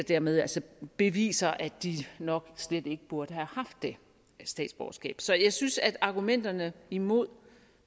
dermed altså beviser at de nok slet ikke burde have haft det statsborgerskab så jeg synes at argumenterne imod